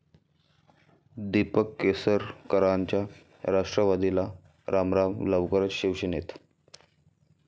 दीपक केसरकरांचा राष्ट्रवादीला रामराम, लवकरचं शिवसेनेत